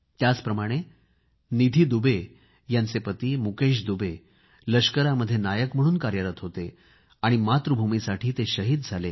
याचप्रमाणे निधी दुबे यांचे पती मुकेश दुबे लष्करामध्ये नायक म्हणून कार्यरत होते आणि मातृभूमीसाठी शहीद झाले